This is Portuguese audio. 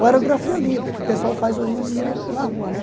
Ou aerografia livre, que o pessoal faz hoje em dia na rua, né?